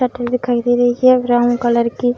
shutter दिखाई दे रही है ब्राउन कलर की --